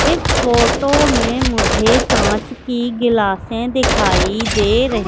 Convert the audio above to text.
इस फोटो में मुझे कांच की गिलासें दिखाई दे रही--